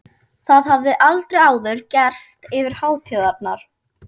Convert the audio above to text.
Það hafði aldrei áður gerst yfir hátíðarnar.